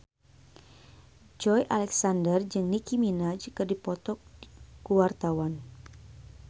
Joey Alexander jeung Nicky Minaj keur dipoto ku wartawan